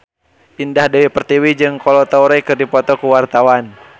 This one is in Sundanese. Indah Dewi Pertiwi jeung Kolo Taure keur dipoto ku wartawan